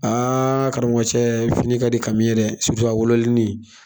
Aaa karamɔgɔ cɛ fini ka di kami ye dɛ surutu a wololeni